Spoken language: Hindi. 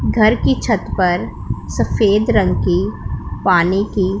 घर की छत पर सफेद रंग की पानी की--